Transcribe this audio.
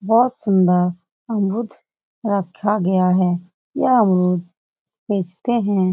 बहुत सुन्दर अमरुद रखा गया है। यह अमरुद बेचते हैं।